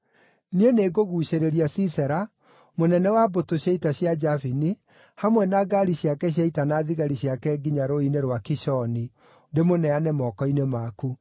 Niĩ nĩngũguucĩrĩria Sisera, mũnene wa mbũtũ cia ita cia Jabini, hamwe na ngaari ciake cia ita na thigari ciake nginya rũũĩ-inĩ rwa Kishoni, ndĩmũneane moko-inĩ maku.’ ”